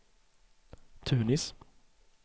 Tunis